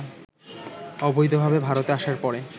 অবৈধভাবে ভারতে আসার পরে